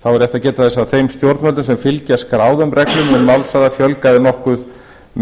þá er rétt að geta þess að þeim stjórnvöldum sem fylgja skráðum reglum um málshraða fjölgaði nokkuð